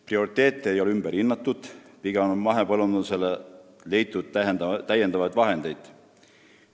" Prioriteete ei ole ümber hinnatud, pigem on mahepõllundusele leitud täiendavaid vahendeid.